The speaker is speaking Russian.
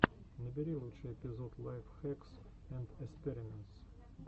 набери лучший эпизод лайф хэкс энд эспериментс